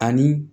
Ani